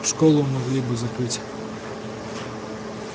школу могли бы закрыть